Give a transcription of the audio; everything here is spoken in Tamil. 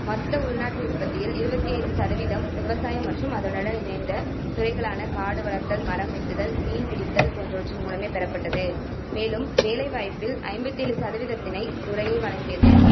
மொத்த உள்நாட்டு உற்பத்தியில் இருவத்தி ஐந்து சதவீதம் விவசாயம் மற்றும் அதனுடன் இணைந்த துறைகளான காடு வளர்த்தல், மரம் வெட்டுதல், மீன் பிடித்தல் போன்றவற்றின் மூலமே பெறப்பட்டது. மேலும் வேலைவாய்ப்பில் ஐம்பத்தி ஏழு சதவீதத்தினை இத்துறையே வழங்கியது.